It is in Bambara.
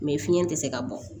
Mɛ fiɲɛ tɛ se ka bɔ